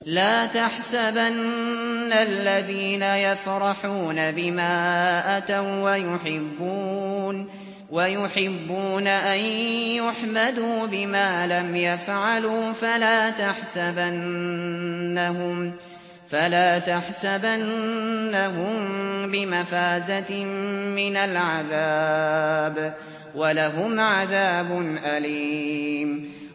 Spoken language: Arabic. لَا تَحْسَبَنَّ الَّذِينَ يَفْرَحُونَ بِمَا أَتَوا وَّيُحِبُّونَ أَن يُحْمَدُوا بِمَا لَمْ يَفْعَلُوا فَلَا تَحْسَبَنَّهُم بِمَفَازَةٍ مِّنَ الْعَذَابِ ۖ وَلَهُمْ عَذَابٌ أَلِيمٌ